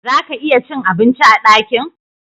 Zaka iya cin abinci a dakin